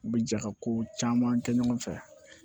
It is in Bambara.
U bɛ jɛ ka ko caman kɛ ɲɔgɔn fɛ